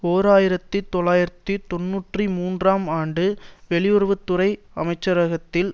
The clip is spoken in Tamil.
ஓர் ஆயிரத்தி தொள்ளாயிரத்து தொன்னூற்றி மூன்றாம் ஆண்டு வெளியுறவு துறை அமைச்சரகத்தில்